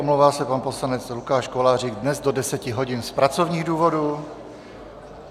Omlouvá se pan poslanec Lukáš Kolářík dnes do 10.00 hodin z pracovních důvodů.